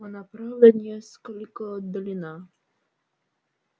она правда несколько отдалена